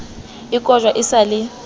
e kojwa e sa le